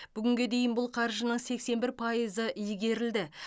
бүгінге дейін бұл қаржының сексен бір пайызы игерілді